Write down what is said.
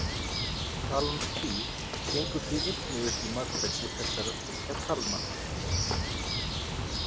Talan þrír gengur því einnig upp í margfeldi þessara þriggja talna.